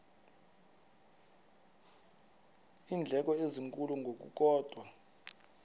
iindleko ezinkulu ngokukodwa